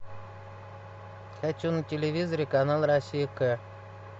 хочу на телевизоре канал россия к